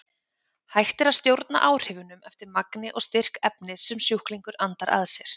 Hægt er að stjórna áhrifunum eftir magni og styrk efnis sem sjúklingur andar að sér.